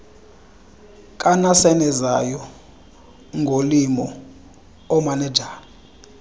kanasenezayo ngolimo oomanejala